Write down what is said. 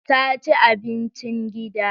Ta ci abincin gida.